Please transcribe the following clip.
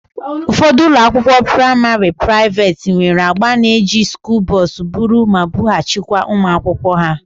Ụfọdụ ụlọakwụkwọ praịmarị praiveeti nwere agba na-eji skuulu bọs buru ma bughachịkwa ụmụ akwụkwọ ha